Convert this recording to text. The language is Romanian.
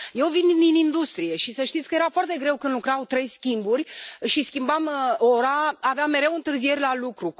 Eu vin din industrie și să știți că era foarte greu când lucrau 3 schimburi și schimbam ora, aveam mereu întârzieri la lucru.